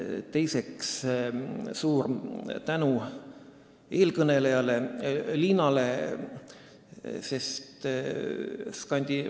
Teiseks, suur tänu eelkõneleja Liinale!